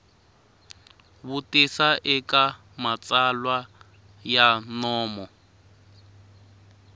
vutisa eka matsalwa ya nomo